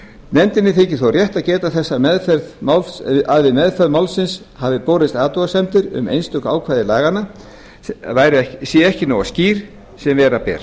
nefndinni þykir þó rétt að geta þess að við meðferð málsins hafa borist athugasemdir um að einstök ákvæði laganna séu ekki svo skýr sem vera ber